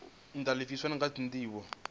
ntha lifhasini kha ndivho ire